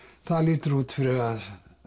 það lítur út fyrir að